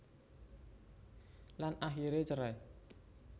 Lan akiré cerai